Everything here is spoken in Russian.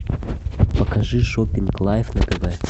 покажи шопинг лайв на тв